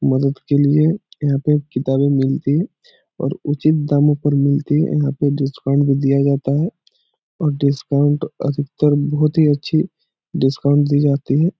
मदद के लिए यहाँ पे किताबे मिलती हैं और उचित दामों पर मिलती है यहाँ पर डिस्काउंट भी दिया जाता है और डिस्काउंट अधिकतर बहोत ही अच्छी डिस्काउंट दी जाती है।